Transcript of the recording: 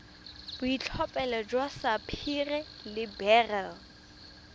boitlhophelo jwa sapphire le beryl